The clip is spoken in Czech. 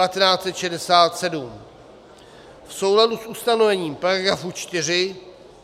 V souladu s ustanovením § 4